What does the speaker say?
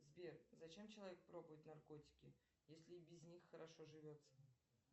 сбер зачем человек пробует наркотики если и без них хорошо живется